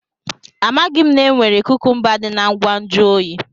Amaghị m na e nwere kukumba dị na ngwa nju oyi.